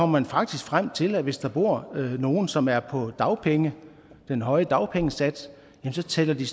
man faktisk frem til at hvis der bor nogen som er på den høje dagpengesats så tæller de